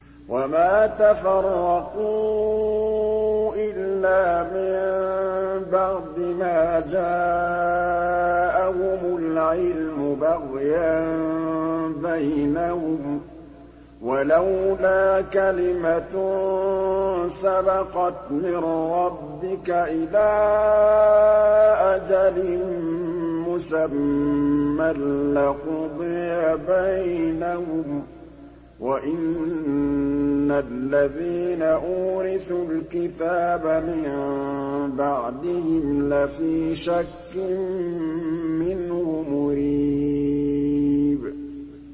وَمَا تَفَرَّقُوا إِلَّا مِن بَعْدِ مَا جَاءَهُمُ الْعِلْمُ بَغْيًا بَيْنَهُمْ ۚ وَلَوْلَا كَلِمَةٌ سَبَقَتْ مِن رَّبِّكَ إِلَىٰ أَجَلٍ مُّسَمًّى لَّقُضِيَ بَيْنَهُمْ ۚ وَإِنَّ الَّذِينَ أُورِثُوا الْكِتَابَ مِن بَعْدِهِمْ لَفِي شَكٍّ مِّنْهُ مُرِيبٍ